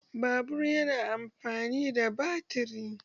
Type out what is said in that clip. Babur yana amfani da batiri.